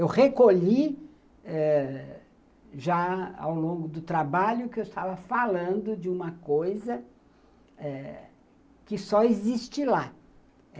Eu recolhi eh, já ao longo do trabalho, que eu estava falando de uma coisa eh que só existe lá.